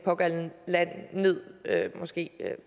pågældende lande ned måske